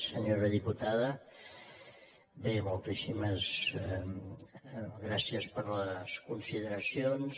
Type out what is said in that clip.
senyora diputada bé moltíssimes gràcies per les consideracions